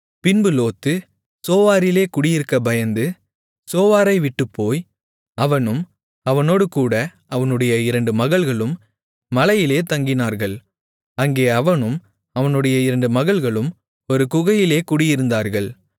பின்பு லோத்து சோவாரிலே குடியிருக்கப் பயந்து சோவாரை விட்டுப்போய் அவனும் அவனோடுகூட அவனுடைய இரண்டு மகள்களும் மலையிலே தங்கினார்கள் அங்கே அவனும் அவனுடைய இரண்டு மகள்களும் ஒரு குகையிலே குடியிருந்தார்கள்